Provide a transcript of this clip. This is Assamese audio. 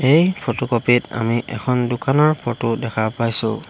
এই ফটোকপি ত আমি এখন দোকানৰ ফটো দেখা পাইছোঁ।